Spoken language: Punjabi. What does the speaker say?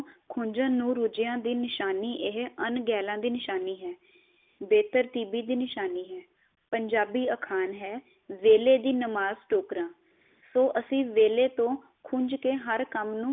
ਖੁੰਜਨ ਨੂੰ ਰੋਜਿਆ ਦੀ ਨਿਸ਼ਾਨੀ ਇਹੀ ਅਨਗੇਲਾ ਦੀ ਨਸ਼ਾਨੀ ਹੈ, ਬੇਹਤਰ ਤਿਬੀ ਦੀ ਨਿਸ਼ਾਨੀ ਹੈ, ਪੰਜਾਬੀ ਅਖਾਣ ਹੈ, ਵੇਲੇਂ ਦੀ ਨਮਾਜ ਟੋਕਰਾ। ਸੌ ਅਸੀਂ ਵੇਲੇਂ ਤੋ ਖੁੰਜ ਕੇ ਹਰ ਕੰਮ ਨੂੰ